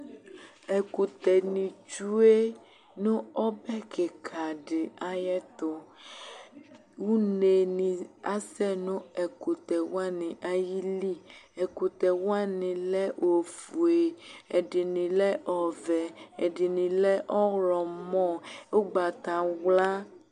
Ɛkʋtɛ ni tsue nʋ ɔbe kika di ayɛtʋ Une ni asɛ nʋ ɛkʋtɛ wani ayili Ɛkʋtɛ wani lɛ ofue, ɛdini lɛ ɔvɛ, ɛdini lɛ ɔwlɔmɔ, ʋgbatawla